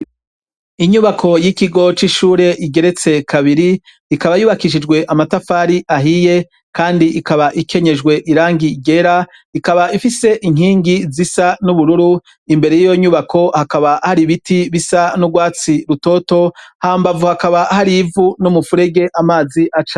Inyubako y'ikigo c'ishure igeretse kabiri. Ikaba yubakishijwe amatafari ahiye kandi ikaba ikenyejwe irangi ryera. Ikaba ifise inkingi zisa n'ubururu. Imbere y'iyo nyubako hakaba hari biti bisa n'urwatsi rutoto. Hambavu hakaba hari ivu n'umufurege amazi aca..